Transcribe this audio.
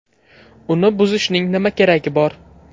Uni buzishning nima keragi bor?